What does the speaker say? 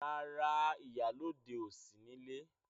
Rárá, ìyálọ́de ò sí nílé.